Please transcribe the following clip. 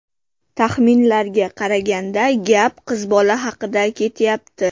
Taxminlarga qaraganda gap qiz bola haqida ketyapti.